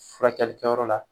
Furakɛli kɛyɔrɔ la.